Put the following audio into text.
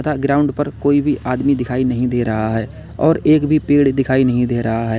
तथा ग्राउंड पर कोई भी आदमी दिखाई नहीं दे रहा है और एक भी पेड़ दिखाई नहीं दे रहा है।